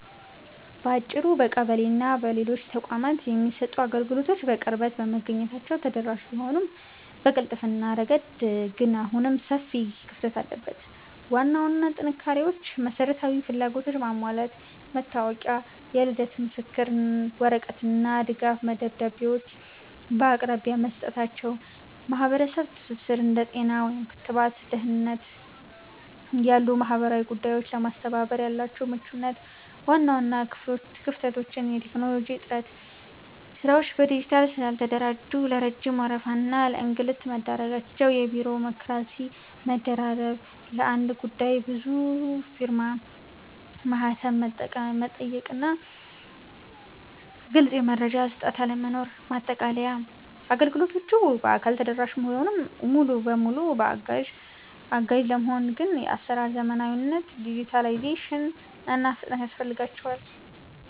ባጭሩ፣ በቀበሌና በሌሎች ተቋማት የሚሰጡ አገልግሎቶች በቅርበት በመገኘታቸው ተደራሽ ቢሆኑም፣ በቅልጥፍና ረገድ ግን አሁንም ሰፊ ክፍተት አለበት። ዋና ዋና ጥንካሬዎች መሰረታዊ ፍላጎቶችን ማሟላት፦ መታወቂያ፣ የልደት ምስክር ወረቀት እና ድጋፍ ደብዳቤዎችን በአቅራቢያ መስጠታቸው። የማህበረሰብ ትስስር፦ እንደ ጤና (ክትባት) እና ደህንነት ያሉ ማህበራዊ ጉዳዮችን ለማስተባበር ያላቸው ምቹነት። ዋና ዋና ክፍተቶች የቴክኖሎጂ እጥረት፦ ስራዎች በዲጂታል ስላልተደራጁ ለረጅም ወረፋ እና ለእንግልት መዳረጋቸው። የቢሮክራሲ መደራረብ፦ ለአንድ ጉዳይ ብዙ ፊርማና ማህተም መጠየቁና ግልጽ የመረጃ አሰጣጥ አለመኖር። ማጠቃለያ፦ አገልግሎቶቹ በአካል ተደራሽ ቢሆኑም፣ ሙሉ በሙሉ አጋዥ ለመሆን ግን የአሰራር ዘመናዊነት (ዲጂታላይዜሽን) እና ፍጥነት ያስፈልጋቸዋል።